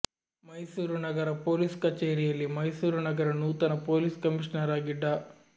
ಮೈಸೂರು ನಗರ ಪೋಲಿಸ್ ಕಚೇರಿಯಲ್ಲಿ ಮೈಸೂರು ನಗರ ನೂತನ ಪೊಲೀಸ್ ಕಮಿಷನರ್ ಆಗಿ ಡಾ